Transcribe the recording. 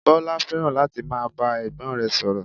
Bọlá fẹ́ràn láti máa bá ẹ̀gbọ́n rẹ̀ sọ̀rọ̀